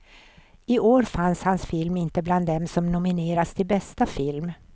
I år fanns hans film inte med bland dem som nominerats till bästa film.